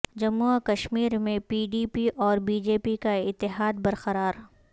جموں و کشمیر میں پی ڈی پی اور بی جے پی کا اتحاد برقرار